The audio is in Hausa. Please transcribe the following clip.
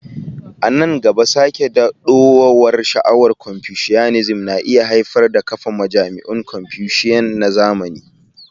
A nan gaba, sake dawowar sha'awar Confucianism na iya haifar da kafa majami'un Confucian na zamani.